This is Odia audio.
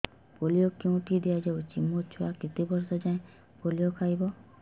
ପୋଲିଓ କେଉଁଠି ଦିଆଯାଉଛି ମୋ ଛୁଆ କେତେ ବର୍ଷ ଯାଏଁ ପୋଲିଓ ଖାଇବ